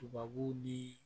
Tubabu ni